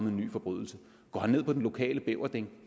en ny forbrydelse går han ned på den lokale beverding